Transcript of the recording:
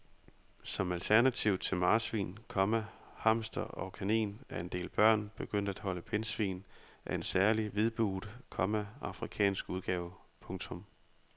Som alternativ til marsvin, komma hamster og kanin er en del børn begyndt at holde pindsvin af en særlig hvidbuget, komma afrikansk udgave. punktum